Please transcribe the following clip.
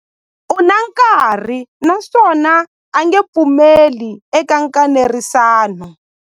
U na nkani naswona a nge pfumeli eka nkanerisano.